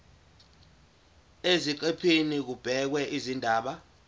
eziqephini kubhekwe izindaba